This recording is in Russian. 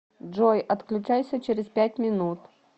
джой отключайся через пять минут